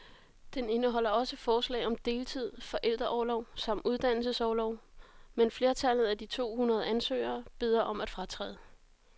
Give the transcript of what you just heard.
Den indeholder også forslag om deltid, forældreorlov samt uddannelsesorlov, men flertallet af de to hundrede ansøgere beder om at fratræde.